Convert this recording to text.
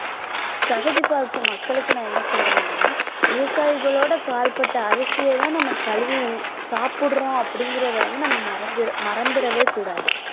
தகுதி பார்க்கும் மக்களுக்கு நான் என்ன சொல்றேன்னா விவசாயிகளோட கால்பட்ட அரிசியைதான் நம்ம கழுவி சாப்பிடுறோம் அப்படிங்கிறதை வந்து நம்ம மறந்~ மறந்திடவே கூடாது